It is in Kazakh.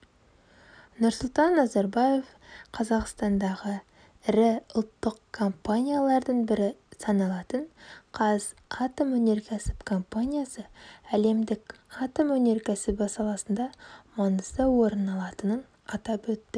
нұрсұлтан назарбаев қазақстандағы ірі ұлттық компаниялардың бірі саналатын қазатомөнеркәсіп компаниясы әлемдік атом өнеркәсібі саласында маңызды орын алатынын атап өтті